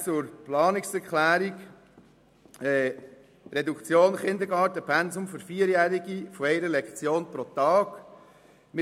Zur Planungserklärung 6, die eine Reduktion des Kindergartenpensums für 4-Jährige von einer Lektion pro Tag fordert: